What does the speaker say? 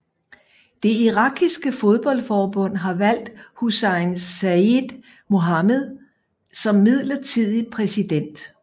Det irakiske fodboldforbund har valgt Hussain Saeed Mohammed som midlertidig præsident